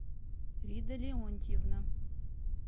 рида леонтьевна